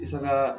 I sanga